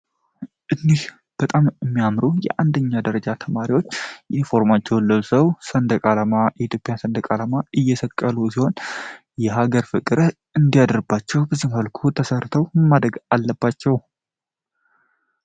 እንህ በጣም የሚያምሩ የአንደኛ ደረጃ ተማሪዎች ኢንፎርማቸው ለብሰው ሰንደቃላማ የኢትዮጵያ ሰንደቃላማ እየሰቀሉ ሲሆን የሀገር ፍቅረ እንዲያደርባቸው ብዝምፈልኩ ተሰርተው ማደግ አለባቸው።